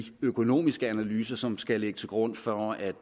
økonomiske analyser som skal ligge til grund for at